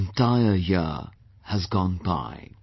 An entire year has gone by